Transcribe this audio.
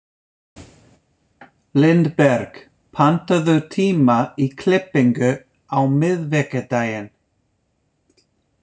Lindberg, pantaðu tíma í klippingu á miðvikudaginn.